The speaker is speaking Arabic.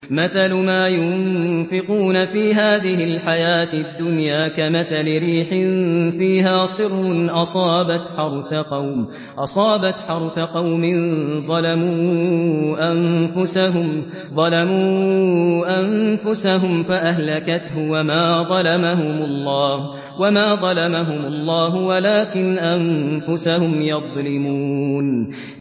مَثَلُ مَا يُنفِقُونَ فِي هَٰذِهِ الْحَيَاةِ الدُّنْيَا كَمَثَلِ رِيحٍ فِيهَا صِرٌّ أَصَابَتْ حَرْثَ قَوْمٍ ظَلَمُوا أَنفُسَهُمْ فَأَهْلَكَتْهُ ۚ وَمَا ظَلَمَهُمُ اللَّهُ وَلَٰكِنْ أَنفُسَهُمْ يَظْلِمُونَ